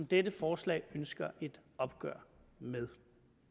dette forslag ønsker et opgør med